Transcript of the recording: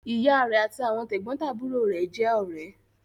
Ìyá rẹ̀ àti àwọn tẹ̀gbọ́ntàbúrò rẹ̀ jẹ́ ọ̀rẹ́.